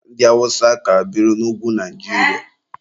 Ndị awụsa ka biri n'ugwu Naijiria.